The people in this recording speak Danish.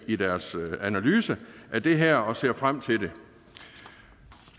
i deres analyse af det her og ser frem til det